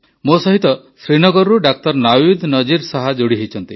ମୋ ସହିତ ଶ୍ରୀନଗରରୁ ଡାକ୍ତର ନାୱିଦ୍ ନଜିର ଶାହ ଯୋଡ଼ି ହୋଇଛନ୍ତି